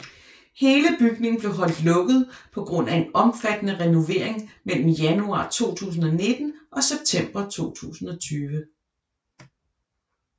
Hele bygningen blev holdt lukket på grund af en omfattende renovering mellem januar 2019 og september 2020